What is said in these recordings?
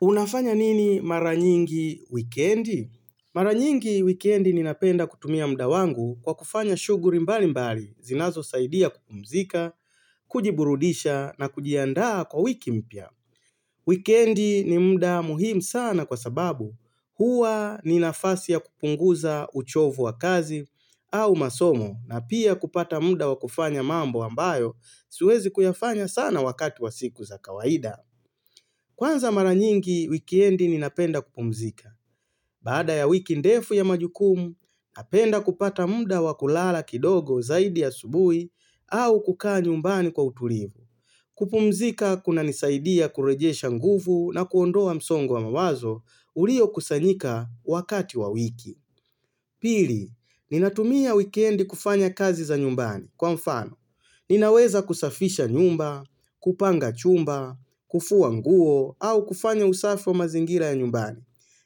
Unafanya nini mara nyingi wikendi? Mara nyingi wikendi ninapenda kutumia muda wangu kwa kufanya shughuli mbalimbali, zinazosaidia kupumzika, kujiburudisha na kujiandaa kwa wiki mpya. Wikendi ni muda muhimu sana kwa sababu huwa ni nafasi ya kupunguza uchovu wa kazi au masomo na pia kupata muda wa kufanya mambo ambayo siwezi kuyafanya sana wakati wa siku za kawaida. Kwanza mara nyingi wikendi ninapenda kupumzika. Baada ya wiki ndefu ya majukumu, napenda kupata muda wa kulala kidogo zaidi asubuhi au kukaa nyumbani kwa utulivu. Kupumzika kunanisaidia kurejesha nguvu na kuondoa msongo wa mawazo uliokusanyika wakati wa wiki. Pili, ninatumia wikendi kufanya kazi za nyumbani kwa mfano. Ninaweza kusafisha nyumba, kupanga chumba, kufua nguo au kufanya usafi wa mazingira nyumbani.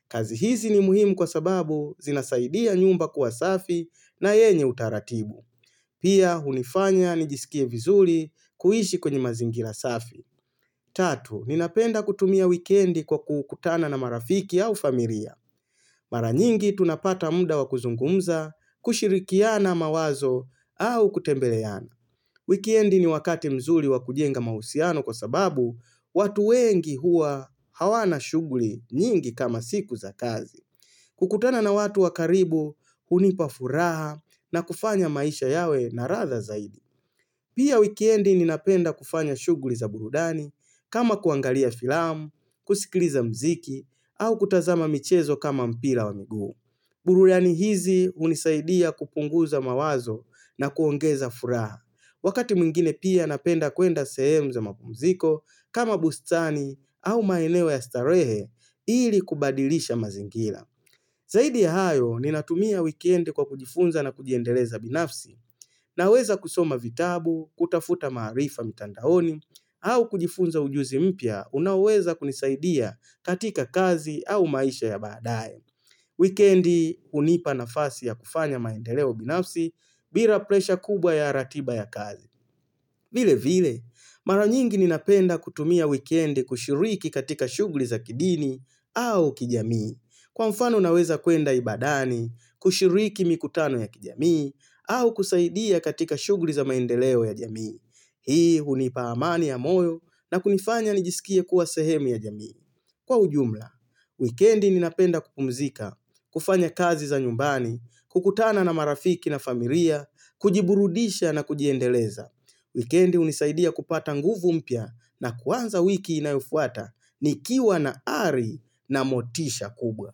Kazi hizi ni muhimu kwa sababu zinasaidia nyumba kuwa safi na yenye utaratibu. Pia hunifanya nijisikie vizuri kuishi kwenye mazingira safi. Tatu, ninapenda kutumia wikendi kwa kukutana na marafiki au familia. Mara nyingi tunapata muda wa kuzungumza, kushirikiana mawazo au kutembeleana. Wikendi ni wakati mzuri wa kujenga mahusiano kwa sababu watu wengi huwa hawana shughuli nyingi kama siku za kazi. Kukutana na watu wa karibu hunipa furaha na kufanya maisha yawe na ladha zaidi. Pia wikendi ninapenda kufanya shughuli za burudani kama kuangalia filamu, kusikiliza muziki au kutazama michezo kama mpira wa miguu. Burudani hizi hunisaidia kupunguza mawazo na kuongeza furaha. Wakati mwingine pia napenda kuenda sehemu za mapumziko kama bustani au maeneo ya starehe ili kubadilisha mazingira. Zaidi ya hayo, ninatumia wikendi kwa kujifunza na kujiendeleza binafsi. Naweza kusoma vitabu, kutafuta maarifa mitandaoni, au kujifunza ujuzi mpya, unaoweza kunisaidia katika kazi au maisha ya baadae. Wikendi hunipa nafasi ya kufanya maendeleo binafsi bila presha kubwa ya ratiba ya kazi. Vile vile, mara nyingi ninapenda kutumia wikendi kushiriki katika shughuli za kidini au kijamii. Kwa mfano naweza kuenda ibadani, kushiriki mikutano ya kijamii au kusaidia katika shughuli za maendeleo ya jamii. Hii hunipa amani ya moyo na kunifanya nijisikie kuwa sehemu ya jamii. Kwa ujumla, wikendi ninapenda kupumzika, kufanya kazi za nyumbani, kukutana na marafiki na familia, kujiburudisha na kujiendeleza. Wikendi hunisaidia kupata nguvu mpya na kuanza wiki inayofuata nikiwa na ari na motisha kubwa.